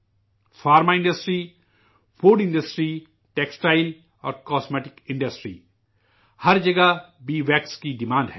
دوا سازی کی صنعت، خوراک کی صنعت، کپڑا اور زیبائش کی صنعتیں ، ہر جگہ بی ویکس کی مانگ ہے